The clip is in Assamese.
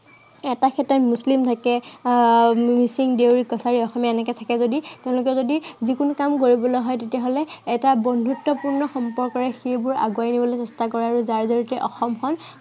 এটা ক্ষেত্ৰত মুছলিম থাকে আহ মিচিং, দেউৰী, কছাৰী, অসমীয়া এনেকে থাকে যদি, আহ তেওঁলোকে যদি যিকোনো কাম কৰিবলৈ হয়, তেতিয়া হ'লে এটা বন্ধুত্বপূৰ্ণ সম্পৰ্কৰে সেইবোৰ আগুৱাই নিবলৈ চেষ্টা কৰে আৰু যাৰ জড়িয়তে অসমখন